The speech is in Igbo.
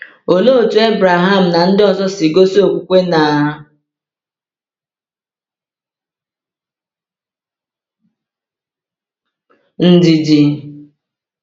Olee otú Abraham na ndị ọzọ si gosi okwukwe na ndidi?